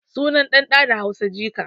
Sunan ɗan ɗan da Hausa jika